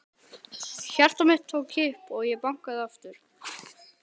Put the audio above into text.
Hjarta mitt tók kipp og ég bankaði aftur.